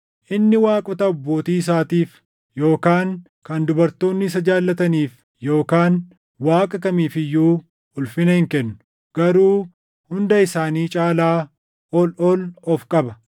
Inni waaqota abbootii isaatiif yookaan kan dubartoonni isa jaallataniif yookaan Waaqa kamiif iyyuu ulfina hin kennu; garuu hunda isaanii caalaa ol ol of qaba.